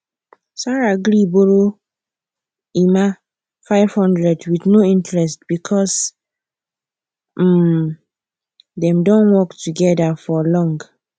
sarah gree borrow emma 500 with no interest because um dem don work together for long